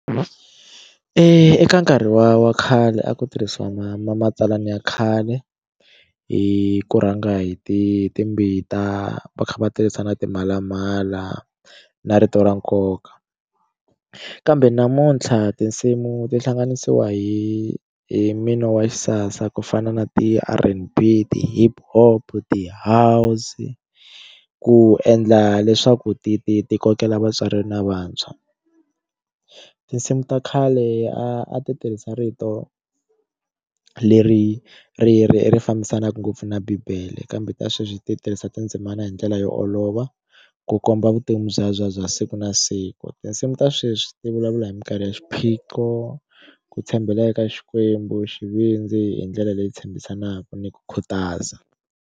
Eka nkarhi wa wa khale a ku tirhisiwa ma ma matsalana ya khale hi ku rhanga hi ti timbita va kha va tirhisa na timhalamala na rito ra nkoka kambe namuntlha tinsimu ti hlanganisiwa hi hi mino wa xisasa ku fana na ti R_N_B ti hip hop ti house ku endla leswaku ti ti ti kokela vatswari na vantshwa tinsimu ta khale a ti tirhisa rito leri ri ri ri fambisanaka ngopfu na bibele kambe ta sweswi ti tirhisa tindzimana hi ndlela yo olova ku komba vutomi bya bya bya siku na siku tinsimu ta sweswi ti vulavula hi minkarhi ya xiphiqo ku tshembela eka xikwembu xivindzi hi ndlela leyi tshembisaka ni ku khutaza.